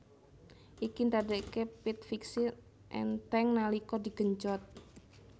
Iki ndadekake pit fixie enteng nalika digenjot